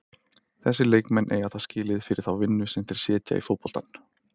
Þessir leikmenn eiga það skilið fyrir þá vinnu sem þeir setja í fótboltann.